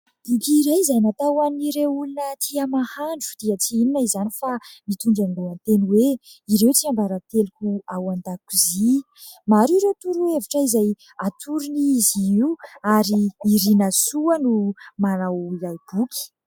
Boky iray izay natao an'ireo olona tia mahandro dia tsy inona izany fa mitondra ny lohateny hoe :" Ireo tsiambaranteloko ao an-dakozia" maro ireo torohevitra izay atorony izy io ary i Irinasoa no manao ilay boky.